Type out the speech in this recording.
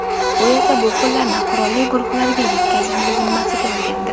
U esa bu pullarni qurolli guruhlarga yetkazishni zimmasiga olgandi.